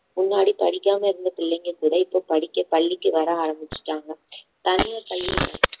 முன்னாடி படிக்காம இருந்த பிள்ளைங்க கூட இப்போ படிக்க பள்ளிக்கு வர ஆரம்பிச்சிட்டாங்க தனியார் பள்ளி